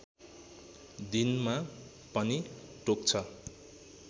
दिनमा पनि टोक्छ